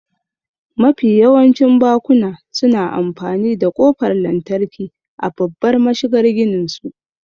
Mafi yawancin bakuna suna amfani da ƙofar lantarki a babbar mashigar gininsu.